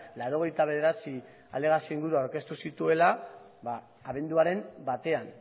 laurogeita bederatzi alegazio buru aurkeztu dituela abenduaren batean